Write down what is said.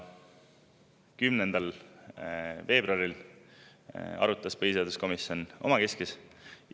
10. veebruaril arutas põhiseaduskomisjon omakeskis.